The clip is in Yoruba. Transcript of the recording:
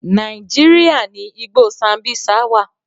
Nàíjíríà ni igbó Sambisa wà.